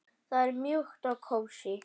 Það er mjúkt og kósí.